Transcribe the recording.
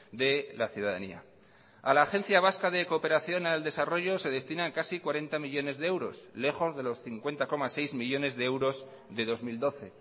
de la ciudadanía a la agencia vasca de cooperación al desarrollo se destinan casi cuarenta millónes de euros lejos de los cincuenta coma seis millónes de euros de dos mil doce